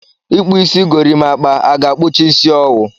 Ị kpụ isi gorimakpa, a ga-akpụcha isi ọ wụ.